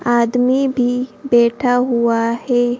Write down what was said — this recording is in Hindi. आदमी भी बैठा हुआ है।